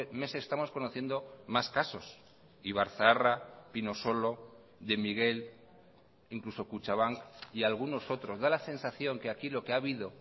meses estamos conociendo más casos ibarzaharra pinosolo de miguel incluso kutxabank y algunos otros da la sensación que aquí lo que ha habido